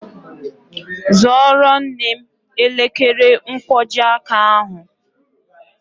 Zụoro nne m elekere nkwojiaka ahụ